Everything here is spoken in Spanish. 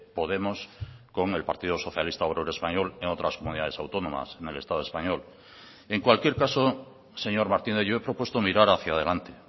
podemos con el partido socialista obrero español en otras comunidades autónomas en el estado español en cualquier caso señor martínez yo he propuesto mirar hacia adelante